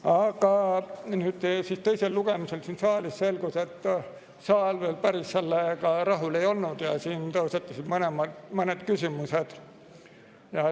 Aga teisel lugemisel siin saalis selgus, et saal veel päris rahul ei olnud, siin tõusetusid mõned küsimused.